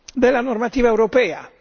della normativa europea.